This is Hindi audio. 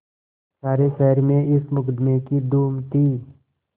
सारे शहर में इस मुकदमें की धूम थी